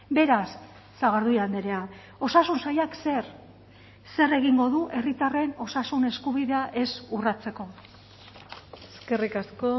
beraz sagardui andrea osasun sailak zer zer egingo du herritarren osasun eskubidea ez urratzeko eskerrik asko